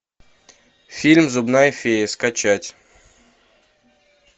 фильм зубная фея скачать